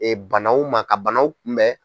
Ee banaw ma ka banaw kunbɛn.